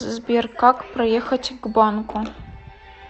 сбер как проехать к банку